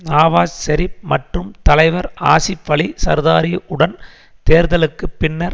நாவாஸ் ஷெரிப் மற்றும் தலைவர் ஆஸிப் அலி சர்தாரி உடன் தேர்தலுக்கு பின்னர்